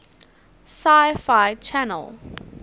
sci fi channel